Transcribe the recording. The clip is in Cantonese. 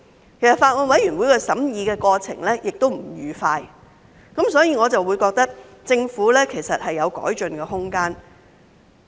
事實上，法案委員會的審議過程亦不愉快，所以我認為政府有改進的空間。